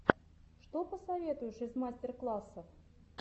что посоветуешь из мастер классов